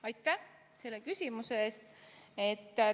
Aitäh selle küsimuse eest!